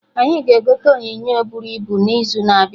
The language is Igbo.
Anyị ga-egote onyonyo bụrụ ibu n'izu na-abịa